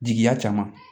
Jigiya caman